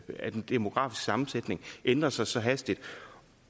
at den demografiske sammensætning ændrer sig så hastigt